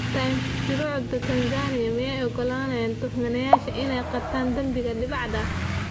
(Times) Shuruucda Tansaaniya miyay u oggolaanayaan tuhmanayaasha inay qirtaan dembiga dibadda ah?